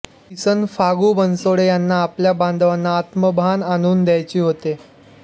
किसन फागू बनसोडे यांना आपल्या बांधवांना आत्मभान आणून द्यायची होते